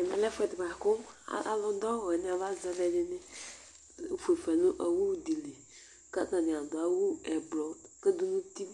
Ɛmɛlɛ ɛfʋɛdi bʋakʋ alu du awu wani aba zɛ alʋɛdìní fʋefa nu owu di li kʋ atani adu awu ɛblɔ du nʋ ʋti